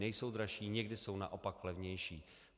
Nejsou dražší, někdy jsou naopak levnější.